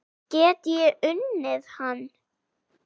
Get ég unnið hann?